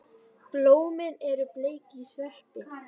Blómin eru bleik í sveip.